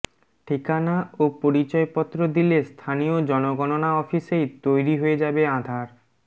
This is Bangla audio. ঠিকানা ও পরিচয়পত্র দিলে স্থানীয় জনগণনা অফিসেই তৈরি হয়ে যাবে আধার